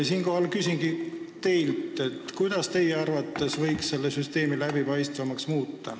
Siinkohal küsingi teilt, kuidas teie arvates võiks selle süsteemi läbipaistvamaks muuta.